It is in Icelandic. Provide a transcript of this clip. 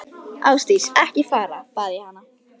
Ásdís, ekki fara, bað ég hana.